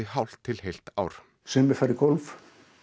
hálft til heilt ár sumir fara í golf